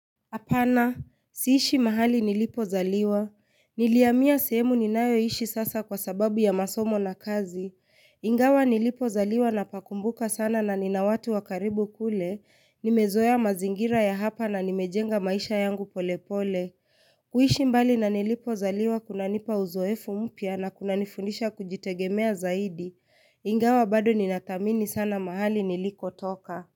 Apana, siishi mahali nilipo zaliwa, niliamia sehemu ninayoishi sasa kwa sababu ya masomo na kazi, ingawa nilipo zaliwa na pakumbuka sana na nina watu wakaribu kule, nimezoea mazingira ya hapa na nimejenga maisha yangu pole pole, kuishi mbali na nilipo zaliwa kuna nipa uzoefu mpya na kuna nifundisha kujitegemea zaidi, ingawa bado ninadhamini sana mahali niliko toka.